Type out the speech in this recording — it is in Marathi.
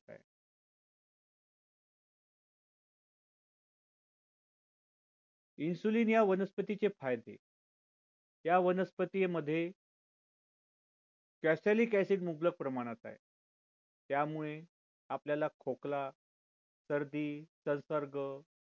insulin या वनस्पती चे फायदे त्या वनस्पती मध्ये cosalic acid मुबलक प्रमाणात आहे त्यामुळे आपल्याला खोकला सर्दी संसर्ग